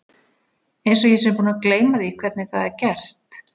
Einsog ég sé búin að gleyma því hvernig það er gert.